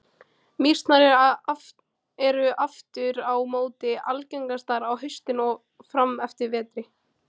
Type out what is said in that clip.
Mýsnar eru aftur á móti algengastar á haustin og fram eftir vetri.